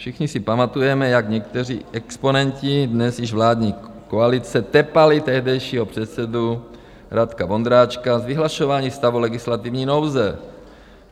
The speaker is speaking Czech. Všichni si pamatujeme, jak někteří exponenti dnes již vládní koalice tepali tehdejšího předsedu Radka Vondráčka z vyhlašování stavu legislativní nouze.